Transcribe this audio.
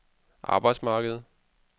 arbejdsmarkedet